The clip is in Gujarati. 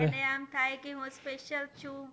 એને આમ થાય કે હું special છું